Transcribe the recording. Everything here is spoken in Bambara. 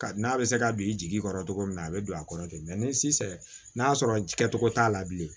N'a bɛ se ka bin jigi kɔrɔ togo min na a bɛ don a kɔrɔ ten ni si sera n'a y'a sɔrɔ kɛcogo t'a la bilen